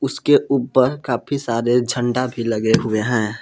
उसके ऊपर काफी सारे झंडा भी लगे हुए हैं।